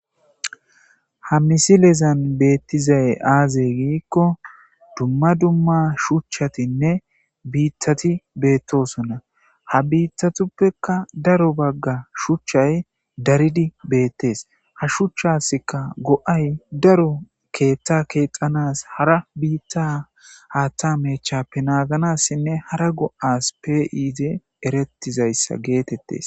ha misilezan beettizay aazey giikko dumma dumma shuchchatinne biittati beettosonna ha biittatuppekka daro bagga shuchchay daridi beettes ha shuchchaskka go7ay daro keeththa keexanas hara biitta haatta mechappenaaganassinne hara go7as peiize erettizayssa geetettes